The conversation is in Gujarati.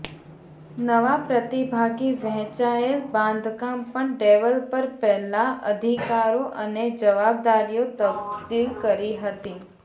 નવા પ્રતિભાગી વહેંચાયેલ બાંધકામ પણ ડેવલપર પહેલાં અધિકારો અને જવાબદારીઓ તબદીલ કરી હતી